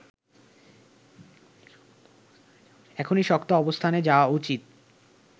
এখনই শক্ত অবস্থানে যাওয়া উচিত